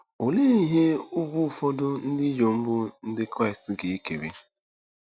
Olee ihe ùgwù ụfọdụ ndị inyom bụ́ Ndị Kraịst ga-ekere?